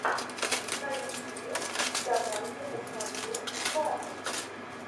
на ютюбе давай я посмотрю батл